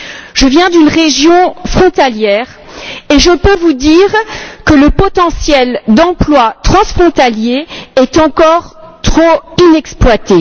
Je viens d'une région frontalière et je peux vous dire que le potentiel d'emplois transfrontaliers est encore trop inexploité.